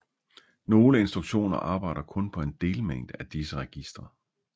Nogle instruktioner arbejder kun på en delmængde af disse registre